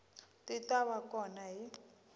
ti ta va kona hi